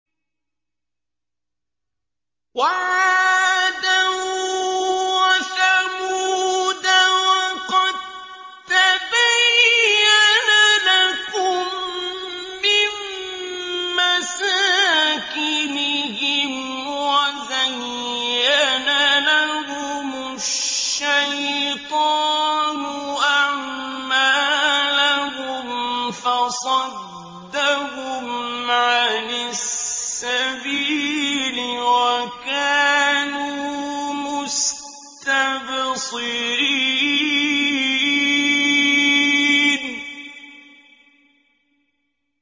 وَعَادًا وَثَمُودَ وَقَد تَّبَيَّنَ لَكُم مِّن مَّسَاكِنِهِمْ ۖ وَزَيَّنَ لَهُمُ الشَّيْطَانُ أَعْمَالَهُمْ فَصَدَّهُمْ عَنِ السَّبِيلِ وَكَانُوا مُسْتَبْصِرِينَ